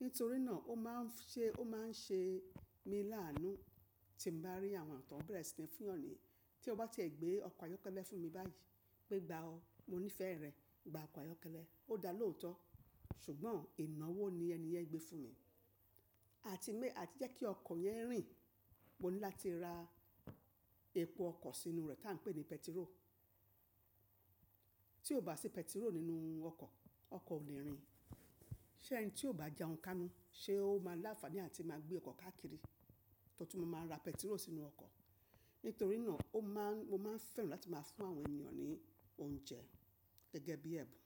Nítorí náà ó máa ń ṣe, ó máa ń ṣe mí láánú tí m bá rí àwọn eniyan ti won bere sí ni fún'yàn ní. Tí o bá tie gbé ọkọ̀ ayọ́kẹ́lẹ́ fún mi báyìí, pé gba o, mo nífẹ̀ẹ́ rẹ̀, gba ọkọ̀ ayọ́kẹ́lẹ́, ó dá lóo tó. Ṣùgbọ́n ìnáwó ni ẹni yẹn gbé fún mi. Àti mé— àti jẹ́ kí ọkọ̀ yẹn rìn, mo ní láti ra epo ọkọ̀ sínú rẹ̀ tí à n pè ní pẹtiró. Tí o bá fi pẹtiró nínú ọkọ̀, ọkọ̀ ò le rìn. Ṣé ẹni tí ó bá jẹun káánú, ṣe ó máa láfààní àti máa gbé ọkọ̀ káàkiri? Tótú ma máa ra pẹtiró sínú ọkọ̀. Nítorí náà ó máa ń, mo máa ń fẹ́ràn láti máa fún àwọn ènìyàn ní oúnjẹ gẹ́gẹ́ bí ẹ̀bùn.